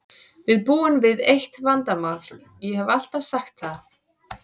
Við búum við eitt vandamál, ég hef alltaf sagt það.